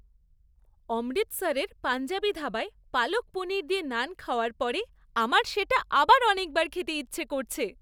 অমৃতসরের পাঞ্জাবি ধাবায় পালক পনির দিয়ে নান খাওয়ার পরে আমার সেটা আবার অনেকবার খেতে ইচ্ছে করছে!